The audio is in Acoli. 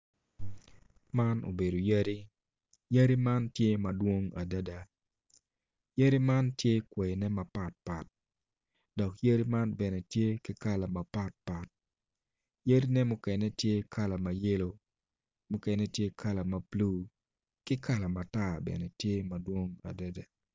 Man obedo yadi, yadi man tye madwong adada yadi man tye kwaine mapatpat dok yadi man bene tye ki kala mapatpat yadine mukene tye kala ma yelo mukene tye kala ma bulu ki kala matar bene tye madwong adada